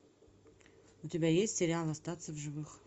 у тебя есть сериал остаться в живых